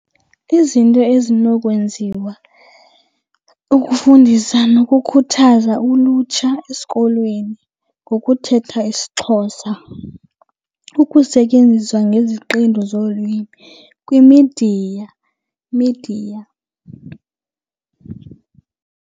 Izinto ezinokwenziwa ukufundisa nokukhuthaza ulutsha esikolweni ngokuthetha isiXhosa. Ukusetyenziswa ngeziqendu zolwimi kwimidiya, midiya.